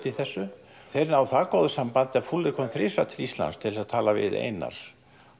í þessu þeir ná það góðu samband að kom þrisvar til Íslands til að tala við Einar